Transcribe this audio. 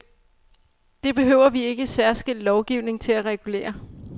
Det behøver vi ikke særskilt lovgivning til at regulere.